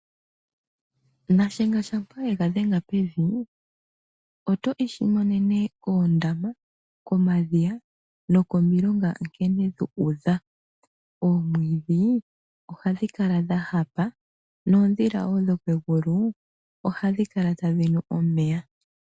Nashenga shampa ega dhenga pevi., oto ishimonene koondama, komadhiya nokomilonga nkene dhu udha. Oomwidhi ohadhi kala dha hapa, noodhila wo dhomegulu ohadhi kala tadhi nu omeya.